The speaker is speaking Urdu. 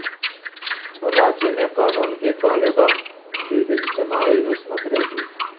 رانچی میں قانون کی طالبہ کی اجتماعی عصمت ریزی